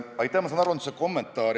Ma saan aru, et see oli lihtsalt kommentaar.